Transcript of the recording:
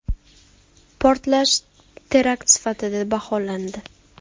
Portlash terakt sifatida baholandi .